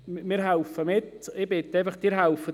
Wir helfen mit, und ich bitte Sie, ebenfalls mitzuhelfen.